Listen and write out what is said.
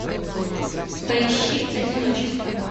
поищи одиночество